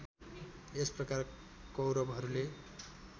यस प्रकार कौरवहरूले